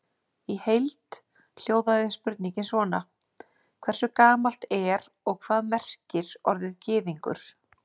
Í heild hljóðaði spurningin svona: Hversu gamalt er og hvað merkir orðið gyðingur?